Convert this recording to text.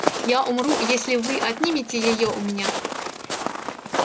я умру если вы отнимете её у меня